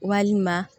Walima